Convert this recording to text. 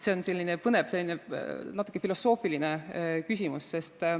See on selline põnev, natuke filosoofiline küsimus.